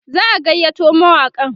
za'a gayyato mawaƙan